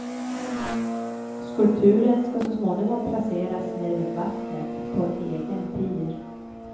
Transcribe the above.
Skulpturen ska så småningom placeras nere vid vattnet på en egen pir.